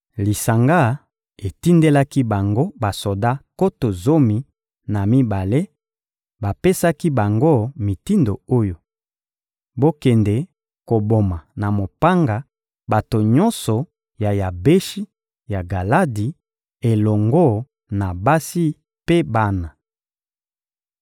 Lisanga etindelaki bango basoda nkoto zomi na mibale, bapesaki bango mitindo oyo: «Bokende koboma na mopanga bato nyonso ya Yabeshi ya Galadi elongo na basi mpe bana.